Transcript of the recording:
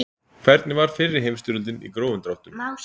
Hvernig var fyrri heimstyrjöldin í grófum dráttum?